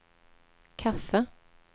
kaffe